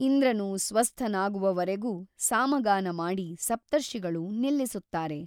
ಇಂದ್ರನು ಸ್ವಸ್ಥನಾಗುವವರೆಗೂ ಸಾಮಗಾನ ಮಾಡಿ ಸಪ್ತರ್ಷಿಗಳು ನಿಲ್ಲಿಸುತ್ತಾರೆ.